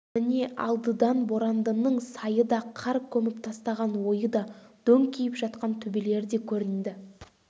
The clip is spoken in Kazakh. міне алдыдан борандының сайы да қар көміп тастаған ойы да дөңкиіп жатқан төбелері де көрінді